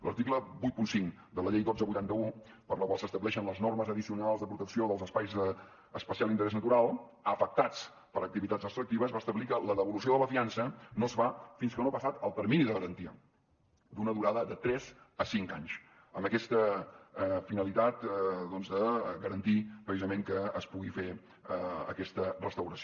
l’article vuitanta cinc de la llei dotze vuitanta un per la qual s’estableixen les normes addicionals de protecció dels espais d’especial interès natural afectats per activitats extractives va establir que la devolució de la fiança no es fa fins que no ha passat el termini de garantia d’una durada de tres a cinc anys amb aquesta finalitat doncs de garantir precisament que es pugui fer aquesta restauració